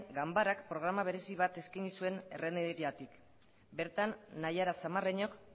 ganbarak programa berezi bat eskaini zuen errenteriatik bertan naiara zamarreñok